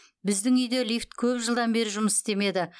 біздің үйде лифт көп жылдан бері жұмыс істемеді